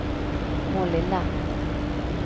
Målilla